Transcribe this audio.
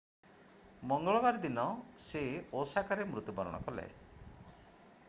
ମଙ୍ଗଳବାର ଦିନ ସେ ଓସାକାରେ ମୃତ୍ୟୁବରଣ କଲେ